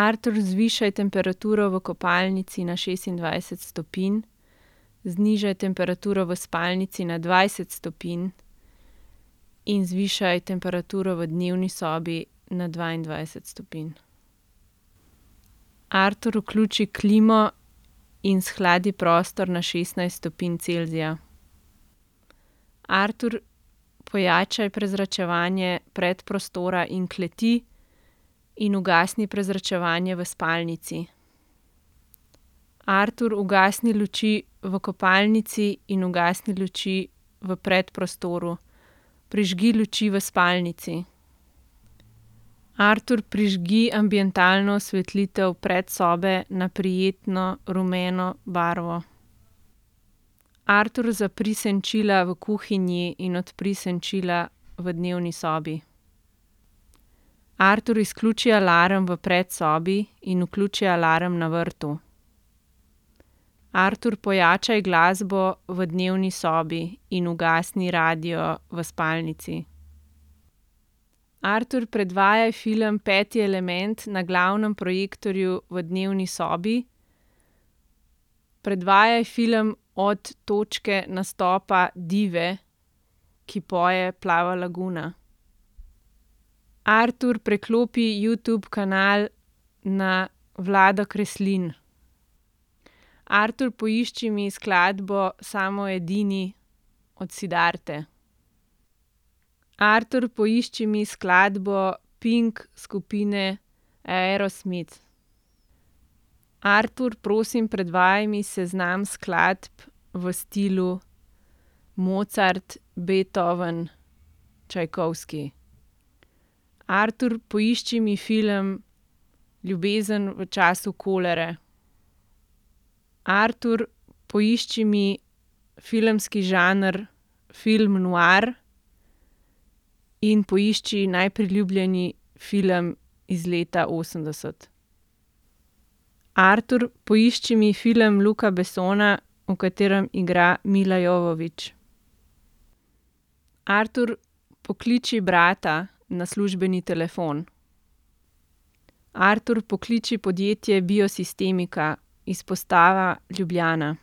Artur, zvišaj temperaturo v kopalnici na šestindvajset stopinj, znižaj temperaturo v spalnici na dvajset stopinj in zvišaj temperaturo v dnevni sobi na dvaindvajset stopinj. Artur, vključi klimo in shladi prostor na šestnajst stopinj Celzija. Artur, pojačaj prezračevanje predprostora in kleti in ugasni prezračevanje v spalnici. Artur, ugasni luči v kopalnici in ugasni luči v predprostoru. Prižgi luči v spalnici. Artur, prižgi ambientalno osvetlitev predsobe na prijetno rumeno barvo. Artur, zapri senčila v kuhinji in odpri senčila v dnevni sobi. Artur, izključi alarm v predsobi in vključi alarm na vrtu. Artur, pojačaj glasbo v dnevni sobi in ugasni radio v spalnici. Artur, predvajaj film Peti element na glavnem projektorju v dnevni sobi. Predvajaj film od točke nastopa dive, ki poje Plava laguna. Artur, preklopi Youtube kanal na Vlado Kreslin. Artur, poišči mi skladbo Samo edini od Siddharte. Artur, poišči mi skladbo Pink skupine Aerosmith. Artur, prosim predvajaj mi seznam skladb v stilu Mozart, Beethoven, Čajkovski. Artur, poišči mi film Ljubezen v času kolere. Artur, poišči mi filmski žanr film noir in poišči najbolj priljubljen film iz leta osemdeset. Artur, poišči mi film Luca Bessona, v katerem igra Mila Jovovich. Artur, pokliči brata na službeni telefon. Artur, pokliči podjetje Biosistemika, izpostava Ljubljana.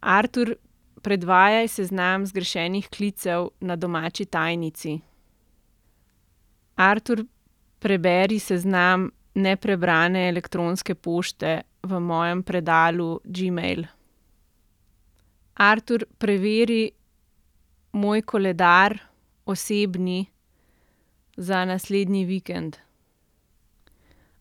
Artur, predvajaj seznam zgrešenih klicev na domači tajnici. Artur, preberi seznam neprebrane elektronske pošte v mojem predalu Gmail. Artur, preveri moj koledar, osebni, za naslednji vikend.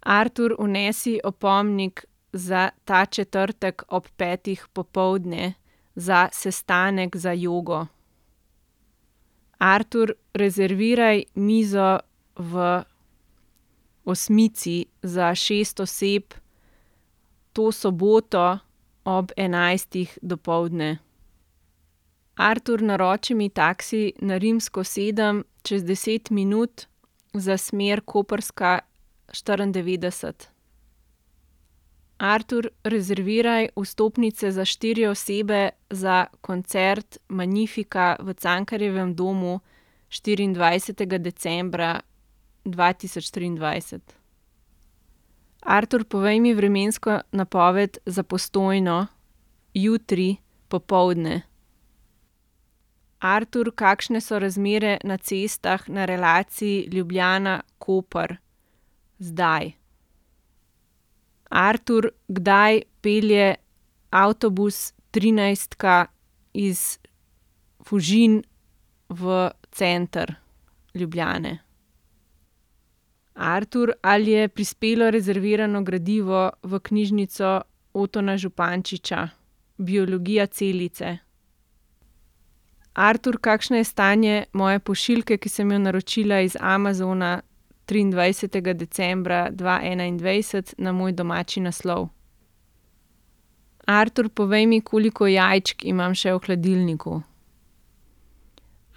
Artur, vnesi opomnik za ta četrtek ob petih popoldne za sestanek za jogo. Artur, rezerviraj mizo v Osmici za šest oseb to soboto ob enajstih dopoldne. Artur, naroči mi taksi na Rimsko sedem čez deset minut za smer Koprska štiriindevetdeset. Artur, rezerviraj vstopnice za štiri osebe za koncert Magnifica v Cankarjevem domu štiriindvajsetega decembra dva tisoč triindvajset. Artur, povej mi vremensko napoved za Postojno jutri popoldne. Artur, kakšne so razmere na cestah na relaciji Ljubljana-Koper zdaj. Artur, kdaj pelje avtobus trinajstka iz Fužin v center Ljubljane? Artur, ali je prispelo rezervirano gradivo v knjižnico Otona Župančiča Biologija celice. Artur, kakšno je stanje moje pošiljke, ki sem jo naročila iz Amazona triindvajsetega decembra dva enaindvajset na moj domači naslov? Artur, povej mi, koliko jajčk imam še v hladilniku.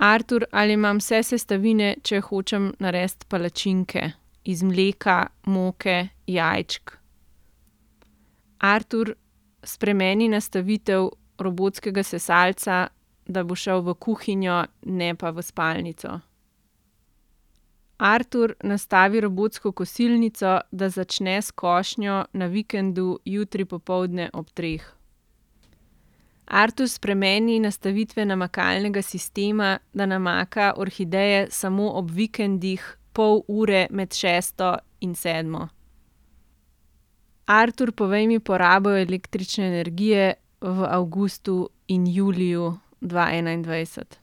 Artur, ali imam vse sestavine, če hočem narediti palačinke iz mleka, moke, jajčk? Artur, spremeni nastavitev robotskega sesalca, da bo šel v kuhinjo, ne pa v spalnico. Artur, nastavi robotsko kosilnico, da začne s košnjo na vikendu jutri popoldne ob treh. Artur, spremeni nastavitve namakalnega sistema, da namaka orhideje samo ob vikendih pol ure med šesto in sedmo. Artur, povej mi porabo električne energije v avgustu in juliju dva enaindvajset.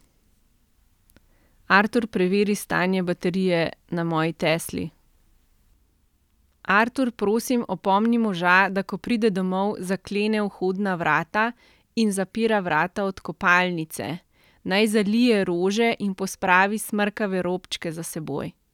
Artur, preveri stanje baterije na moji Tesli. Artur, prosim opomni moža, da ko pride domov, zaklene vhodna vrata in zapira vrata od kopalnice. Naj zalije rože in pospravi smrkave robčke za seboj.